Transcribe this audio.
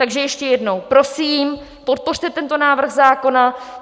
Takže ještě jednou, prosím, podpořte tento návrh zákona.